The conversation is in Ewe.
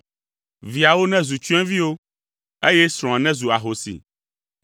Viawo nezu tsyɔ̃eviwo, eye srɔ̃a nezu ahosi.